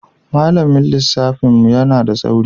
Malamin lissafin mu yana da tsauri.